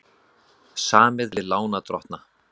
Samið við lánardrottna